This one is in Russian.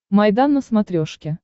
майдан на смотрешке